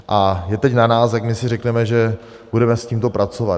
A je teď na nás, jak my si řekneme, že budeme s tímto pracovat.